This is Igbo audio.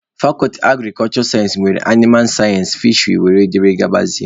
Fakọlti agrik sayensị nwere animal sayensị, fisheri wdg